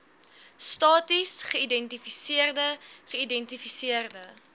stasies geïdentifiseerde geïdentifiseerde